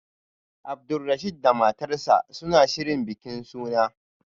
Abdulrasheed da matarsa ​​suna shirin bikin suna